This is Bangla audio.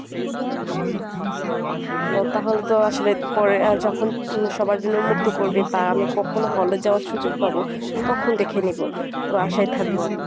আহ তাহলে তো আসলে পরে আহ যখন সবার জন্য উন্মুক্ত করবে বা আমি কখনো hall এ যাওয়ার সুযোগ পাব তখন দেখে নিব তো আশায় থাকব আমি।